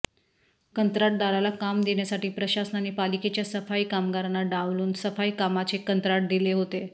कंत्राटदाराला काम देण्यासाठी प्रशासनाने पालिकेच्या सफाई कामगारांना डावलून सफाई कामाचे कंत्राट दिले होते